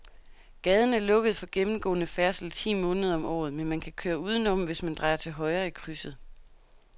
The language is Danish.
Gaden er lukket for gennemgående færdsel ti måneder om året, men man kan køre udenom, hvis man drejer til højre i krydset.